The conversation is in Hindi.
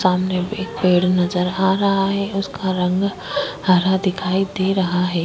सामने एक पेड़ नज़र आ रहा है उसका रंग हरा नज़र आ रहा है।